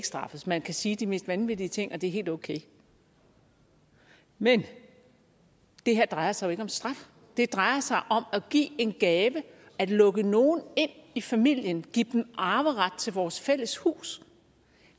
straffes man kan sige de mest vanvittige ting og det er helt okay men det her drejer sig jo ikke om straf det drejer sig om at give en gave at lukke nogle ind i familien give dem arveret til vores fælles hus